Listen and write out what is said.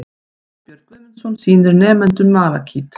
Snæbjörn Guðmundsson sýnir nemendum malakít.